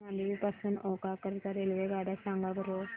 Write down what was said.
मांडवी पासून ओखा करीता रेल्वेगाड्या सांगा बरं